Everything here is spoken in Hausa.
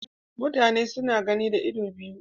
Mutane suna gani da idanu biyu